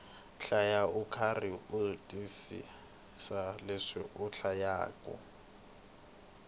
hlaya ukarhi u twisisa leswi u hlayaku